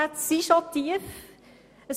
Die SKOS-Ansätze sind bereits tief.